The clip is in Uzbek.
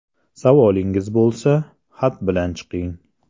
Savolingiz bo‘lsa, xat bilan chiqing.